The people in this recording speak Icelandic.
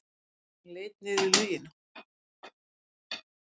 Hann leit niður í laugina.